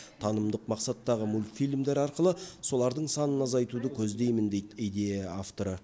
танымдық мақсаттағы мультфильмдер арқылы солардың санын азайтуды көздеймін дейді идея авторы